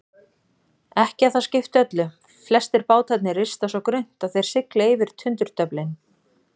Ekki að það skipti öllu, flestir bátarnir rista svo grunnt að þeir sigla yfir tundurduflin.